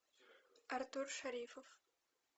артур шарифов